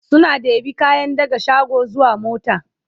suna ɗebi kayan daga shago zuwa mota